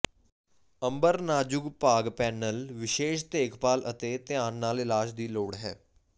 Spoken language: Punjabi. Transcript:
ਅੰਬਰ ਨਾਜ਼ੁਕ ਭਾਗ ਪੈਨਲ ਵਿਸ਼ੇਸ਼ ਦੇਖਭਾਲ ਅਤੇ ਧਿਆਨ ਨਾਲ ਇਲਾਜ ਦੀ ਲੋੜ ਹੈ